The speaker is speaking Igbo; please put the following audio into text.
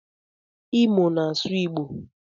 Imo na asụ igbo.